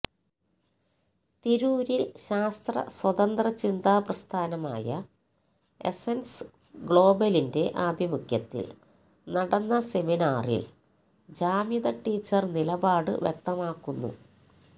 തിരൂരില് ശാസ്ത്ര സ്വതന്ത്രചിന്താ പ്രസ്ഥാനമായ എസ്സന്സ് ഗ്ലോബലിന്റെ ആഭിമുഖ്യത്തില് നടന്ന സെമിനാറില് ജാമിദ ടീച്ചര് നിലപാട് വ്യക്തമാക്കുന്നു